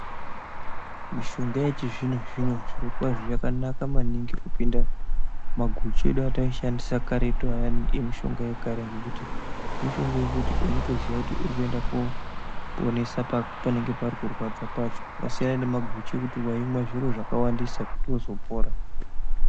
Mishonga yechizvino-zvino zvirokwazvo yakanaka maningi kupinda maguchu edu ataishandisa karetu ayani emishonga yekare, ngekuti mushonga yekaretu. Unotoziya kuti uri kuenda koponesa panenge pari kurwadza pacho. Zvasiyana nemaguchu ngekuti waimwa zviro zvakawandisa kuti uzopora.